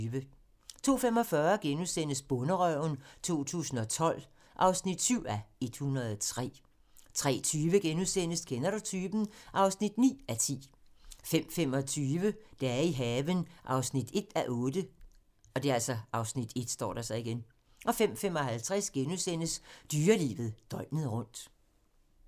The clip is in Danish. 02:45: Bonderøven 2012 (7:103)* 03:20: Kender du typen? (9:10)* 05:25: Dage i haven (1:8) (Afs. 1) 05:55: Dyrelivet døgnet rundt *